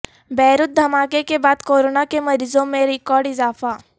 Beirut دھماکے کے بعد کورونا کے مریضوں میں ریکارڈ اضافہ